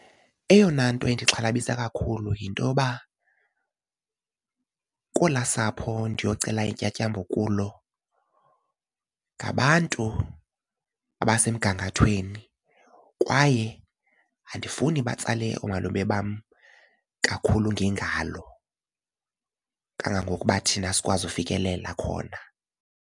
Eyona nto endixhalabisa kakhulu yinto yoba kolaa sapho ndiyocela intyatyambo kulo ngabantu abasemgangathweni kwaye andifuni batsale oomalume bam kakhulu ngengalo kangangokuba thina sikwazi ukufikelela khona.